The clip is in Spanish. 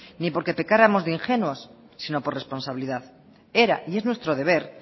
ni porque pecáramos de ingenuos sino por responsabilidad era y es nuestro deber